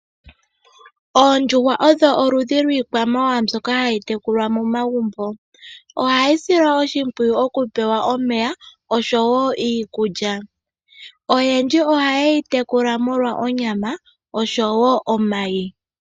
Oondjuhwa odho oludhi lwi kwamawawa mbyoka hayi tekulwa momagumbo, ohayi silwa oshimpwiyu okupewa omeya osho wo iikulya. Oyendji ohayedhi tekula molwa onyama nomayi.